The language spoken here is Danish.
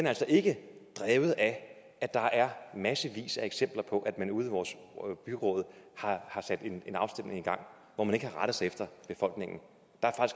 altså ikke er drevet af at der er massevis af eksempler på at man ude i vores byråd har sat en afstemning i gang hvor man ikke har rettet sig efter befolkningen der